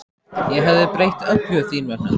Ég hefði breytt öllu þín vegna.